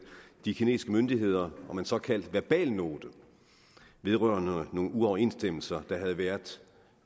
de kinesiske myndigheder om en såkaldt verbalnote vedrørende nogle uoverensstemmelser der havde været